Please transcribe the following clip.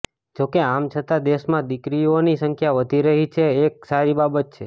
જોકે આમ છતાં દેશમાં દીકરીઓની સંખ્યા વધી રહી છે એ એક સારી બાબત છે